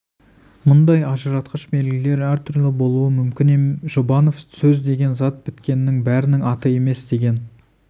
мұндай ажыратқыш белгілер әр түрлі болуы мүмкін жұбанов сөз деген зат біткеннің бәрінің аты емес деген